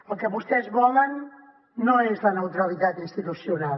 el que vostès volen no és la neutralitat institucional